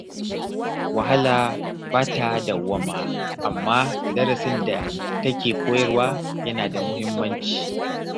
Wahala ba ta dawwama, amma darasin da take koyarwa yana da muhimmanci.